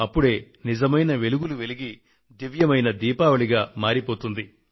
అప్పుడే నిజమైన వెలుగులు వెలిగి దివ్యమైన దివ్వెల పండుగగా మారిపోతుంది